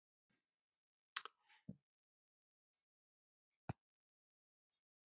En hversu stórt skref er að fyrir ríkin?